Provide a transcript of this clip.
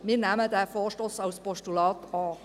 Wir nehmen diesen Vorstoss als Postulat an.